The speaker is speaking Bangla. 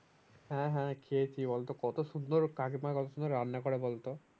হ্যাঁ হ্যাঁ খেয়েছি বলতো কত সুন্দর কাকিমা কখনো রান্না করে বলতো?